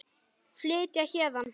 Flytja héðan.